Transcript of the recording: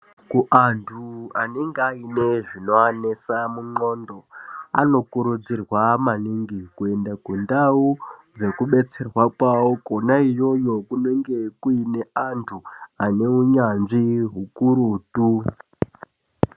Kuanhu anenhe ane zvinovanesa mundxondo anokurudzirwa maningi kuenda kundau dzekudetserwa kwavo kwona iyoyo kunenge kuine antu aneunyanzvi hukurutu.